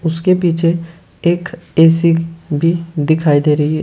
उसके पीछे एक ए_सी भी दिखाई दे रही है।